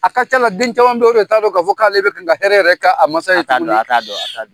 A ka c'a la den caman be yi , o de t'a dɔn ka fɔ k'ale bɛ kan ka hɛrɛ yɛrɛ kɛ a masa ye tuguni. A t'a dɔn, a t'a dɔn.